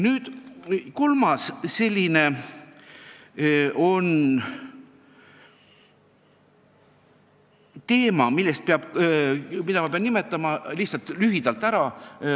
Nüüd kolmas teema, mille ma lihtsalt ära nimetan.